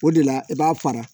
O de la i b'a fara